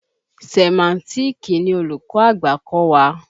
Sẹ̀máńtíìkì ni olùkọ́ àgbà kọ́ wa.